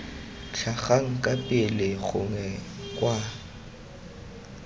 tlhagang kwa pele gongwe kwa